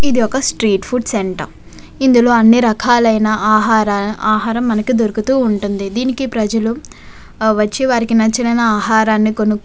ఇది ఒక street food centre ఇందులో అన్ని రకాలు ఐన ఆహార ఆహారము మనకు దొరుకుతూ ఉంటుంది దీనికి ప్రజలు వచ్చి వారికి నచ్చినైన ఆహరం కొనుకు --